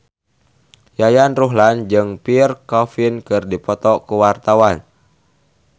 Yayan Ruhlan jeung Pierre Coffin keur dipoto ku wartawan